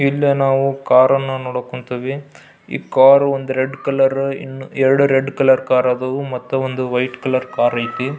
ಇಲ್ಲಿ ನಾವು ಕಾರ್ ಅನ್ನು ನೋಡಕ್ ಹೊಂಥಿವಿ ಈ ಕಾರು ಒಂದ್ ರೆಡ್ ಕಲರ್ ಎರಡು ರೆಡ್ ಕಲರ್ ಆದವು ಮತ್ತೆ ಒಂದು ವೈಟ್ ಕಲರ್ ಕಾರ್ ಅಯ್ತ್ನಿ.